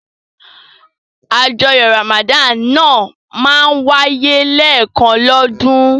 Àjọyọ̀ Ramadan náà máa ń wáyé lẹ́ẹ̀kan lọ́dún.